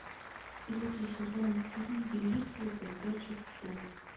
третий сезон фильм великий из бродячих псов